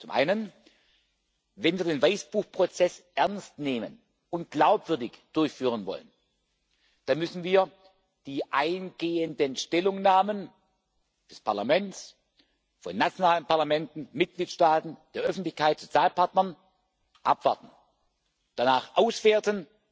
Zum einen Wenn wir den Weißbuch Prozess ernst nehmen und glaubwürdig durchführen wollen, dann müssen wir die eingehenden Stellungnahmen des Parlaments, von nationalen Parlamenten, Mitgliedstaaten, der Öffentlichkeit, Sozialpartnern abwarten, danach auswerten